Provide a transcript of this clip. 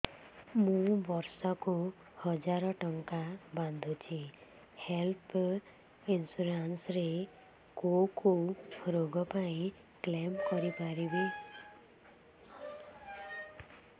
ମୁଁ ବର୍ଷ କୁ ହଜାର ଟଙ୍କା ବାନ୍ଧୁଛି ହେଲ୍ଥ ଇନ୍ସୁରାନ୍ସ ରେ କୋଉ କୋଉ ରୋଗ ପାଇଁ କ୍ଳେମ କରିପାରିବି